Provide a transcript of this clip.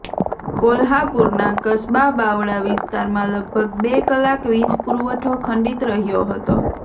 કોલ્હાપુરના કસબા બાવડા વિસ્તારમાં લગભગ બે કલાક વીજ પુરવઠો ખંડિત રહયો હતો